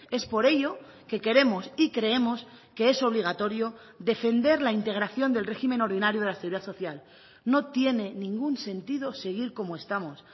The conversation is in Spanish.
es por ello que queremos y creemos que es obligatorio defender la integración del régimen ordinario de la seguridad social no tiene ningún sentido seguir como estamos